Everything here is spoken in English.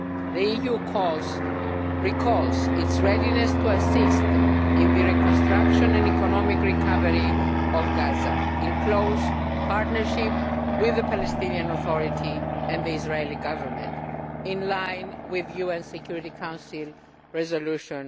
The EU reiterates its readiness to assist in the reconstruction and economic recovery of Gaza, in close partnership with the Palestinian Authority and the Israeli Government, in line with UN Security Council Resolution